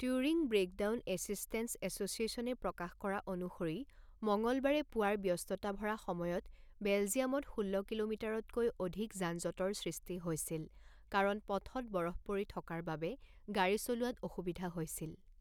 Turing breakdown assistance এছ'চিয়েশ্যনে প্ৰকাশ কৰা অনুসৰি মঙলবাৰে পুৱাৰ ব্যস্ততা ভৰা সময়ত বেলজিয়ামত ষোল্ল কিলোমিটাৰতকৈ অধিক যান জঁটৰ সৃষ্টি হৈছিল কাৰণ পথত বৰফ পৰি থকাৰ বাবে গাড়ী চলোৱাত অসুবিধা হৈছিল।